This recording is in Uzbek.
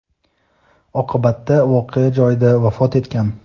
Oqibatda voqea joyida vafot etgan.